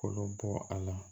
Kolo bɔ a la